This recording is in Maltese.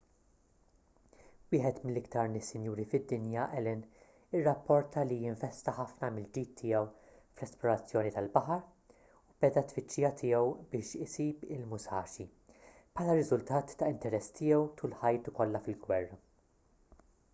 wieħed mill-iktar nies sinjuri fid-dinja allen irrapporta li investa ħafna mill-ġid tiegħu fl-esplorazzjoni tal-baħar u beda t-tfittxija tiegħu biex isib il-musashi bħala riżultat ta' interess tiegħu tul ħajtu kollha fil-gwerra